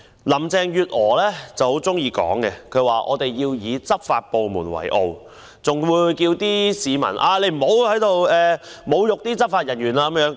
林鄭月娥很喜歡說，我們要以執法部門為傲，更呼籲市民不要侮辱執法人員。